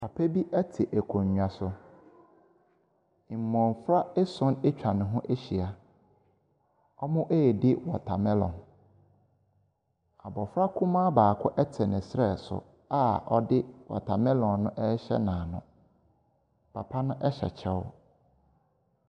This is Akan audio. Papa bi te akonnwa so. Mmofra ason atwa ne ho ahyia. Wɔredi watamelon. Abofra kumaa baako te ne stɛ so a ɔde watamilon no rehyɛ n'ano. Papa bi te akonnwa so.